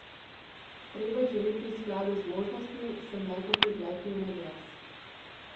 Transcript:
Treba je živeti v skladu z zmožnostmi, sem nehote bleknil naglas.